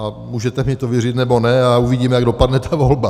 A můžete mi to věřit, nebo ne, a uvidíme, jak dopadne ta volba.